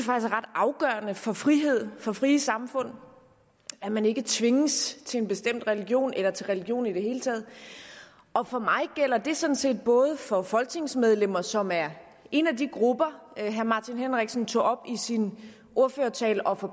ret afgørende for frihed og for frie samfund at man ikke tvinges til en bestemt religion eller til religion i det hele taget og for mig gælder det sådan set både for folketingsmedlemmer som er en af de grupper herre martin henriksen tog op i sin ordførertale og for